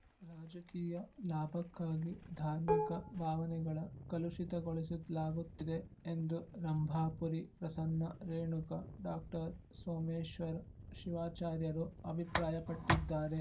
ರಾಜಕೀಯ ಲಾಭಕ್ಕಾಗಿ ಧಾರ್ಮಿಕ ಭಾವನೆಗಳ ಕಲುಷಿತಗೊಳಿಸುತ್ ಲಾಗುತ್ತಿದೆ ಎಂದು ರಂಭಾಪುರಿ ಪ್ರಸನ್ನ ರೇಣುಕ ಡಾಸೋಮೇಶ್ವರ್ ಶಿವಾಚಾರ್ಯರು ಅಭಿಪ್ರಾಯಪಟ್ಟಿದ್ದಾರೆ